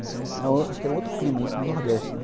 Acho que era um outro clima, isso no Nordeste, né?